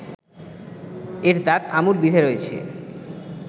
এর দাঁত আমূল বিঁধে রয়েছে